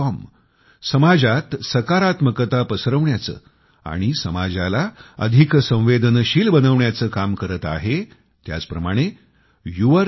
comसमाजात सकारात्मकता पसरविण्याचे आणि समाजाला अधिक संवेदनशील बनविण्याचे काम करत आहे त्याच प्रमाणे yourstory